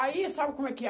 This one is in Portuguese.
Aí, sabe como é que é?